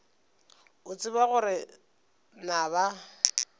o tseba gore na ba